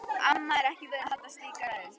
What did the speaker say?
Amma er ekki vön að halda slíka ræðu.